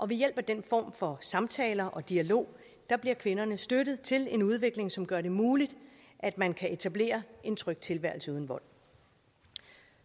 ved hjælp af den form for samtaler og dialog bliver kvinderne støttet til en udvikling som gør det muligt at man kan etablere en tryg tilværelse uden vold